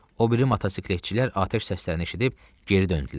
O biri motosikletçilər atəş səslərini eşidib geri döndülər.